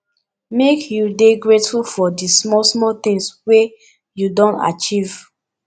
make you you dey grateful for di small small tins wey you don achieve